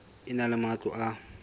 e na le matlo a